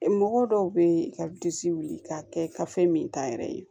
Mɔgɔ dɔw bɛ yen ka wuli k'a kɛ gafe min ta yɛrɛ ye